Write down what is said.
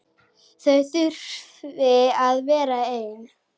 Þau þurfi að vera ein.